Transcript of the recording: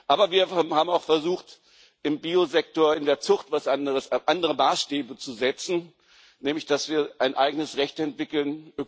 Aber wir haben auch versucht, im Biosektor in der Zucht andere Maßstäbe zu setzen, nämlich dass wir ein eigenes Recht entwickeln.